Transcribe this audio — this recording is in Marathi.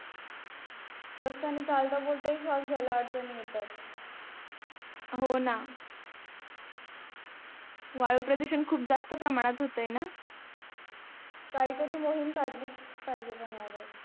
रस्त्यानी चालता बोलताही श्वास घाय्ला हि अडचणी येतात हो ना वायू प्रदूषण खूप जास्त प्रमाणात होत्य न काही तरी मोहीम काढलीच पाहिजे पण यावर